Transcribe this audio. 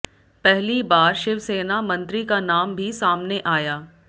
पहली बार शिवसेना मंत्री का नाम भी सामने आया